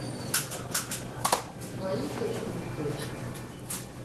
мои кредиты